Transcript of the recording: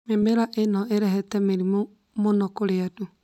Mĩmera ĩno ĩrehete mĩrimũ mũno kũrĩ andũ